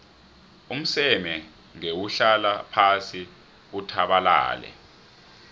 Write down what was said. umseme ngewuhlala phasi uthabalale